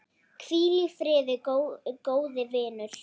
Hvíl í friði, góði vinur.